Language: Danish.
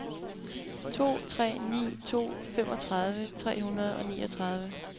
to tre ni to femogtredive tre hundrede og niogtredive